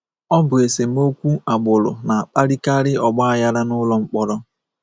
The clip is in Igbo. Ọ bụ esemokwu agbụrụ na-akpalikarị ọgbaghara n’ụlọ mkpọrọ.